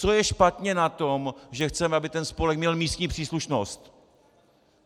Co je špatně na tom, že chceme, aby ten spolek měl místní příslušnost?